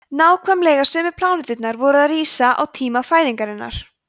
nákvæmlega sömu pláneturnar voru að rísa á tíma fæðingarinnar